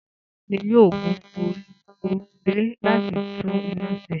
Ta ni yóò gun orí òrùlé láti tún iná se?